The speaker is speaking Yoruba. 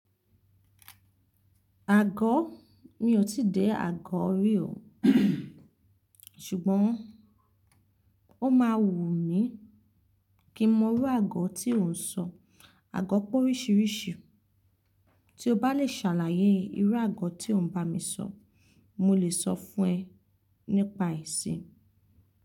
Àgọ́? Mi ò tí dẹ̀ àgọ́ rí o ṣùgbọ́n ó máa wù mí kí mo rí àgọ́ tí ò ń sọ. Àgọ́ pé oríṣiríṣi. Tí o bá lè ṣàlàyé irú àgọ́ tí ò ń bá mi sọ, mo lè sọ fún ẹ nípa ẹ̀ sí.